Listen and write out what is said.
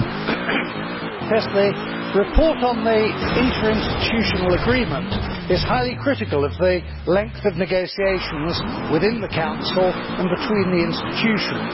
Mr President, the report on the interinstitutional agreement is highly critical of the length of the negotiations within the Council and between the institutions.